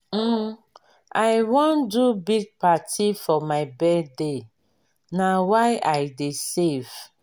um i wan do big party for my birthday na why i dey save.